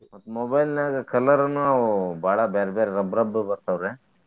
ಮತ್ತ್ mobile ನ್ಯಾಗ colour ನು ಅವ ಬಾಳ ಬ್ಯಾರೆ ಬ್ಯಾರೆ ರಬ್ಬ ರಬ್ಬ ಬರ್ತಾವ್ರೆ.